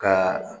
Ka